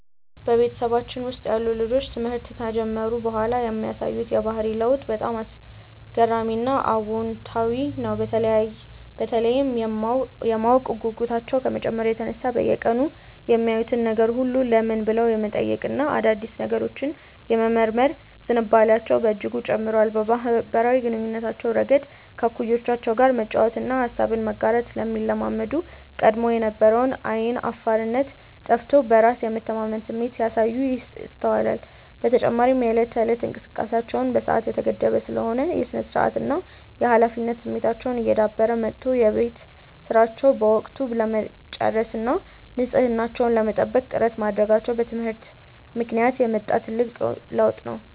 በቤተሰባችን ውስጥ ያሉ ልጆች ትምህርት ከጀመሩ በኋላ የሚያሳዩት የባህሪ ለውጥ በጣም አስገራሚና አዎንታዊ ነው፤ በተለይም የማወቅ ጉጉታቸው ከመጨመሩ የተነሳ በየቀኑ የሚያዩትን ነገር ሁሉ "ለምን?" ብለው የመጠየቅና አዳዲስ ነገሮችን የመመርመር ዝንባሌያቸው በእጅጉ ጨምሯል። በማኅበራዊ ግንኙነታቸውም ረገድ ከእኩዮቻቸው ጋር መጫወትንና ሐሳብን መጋራትን ስለሚለማመዱ፣ ቀድሞ የነበራቸው ዓይን አፋርነት ጠፍቶ በራስ የመተማመን ስሜት ሲያሳዩ ይስተዋላል። በተጨማሪም የዕለት ተዕለት እንቅስቃሴያቸው በሰዓት የተገደበ ስለሚሆን፣ የሥነ-ስርዓትና የኃላፊነት ስሜታቸው እየዳበረ መጥቶ የቤት ሥራቸውን በወቅቱ ለመጨረስና ንጽሕናቸውን ለመጠበቅ ጥረት ማድረጋቸው በትምህርት ምክንያት የመጣ ትልቅ ለውጥ ነው።